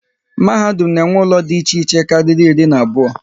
Mahadum na enwe ụlọ dị iche iche kárírí iri na abụọ